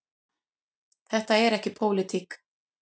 Þetta er ekki pólitík.